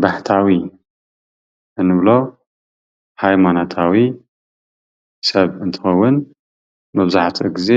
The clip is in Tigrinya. ባሕታዊ እንብሎ ሃይማኖታዊ ሰብ እንትኸውን መብዛሕትኡ ግዜ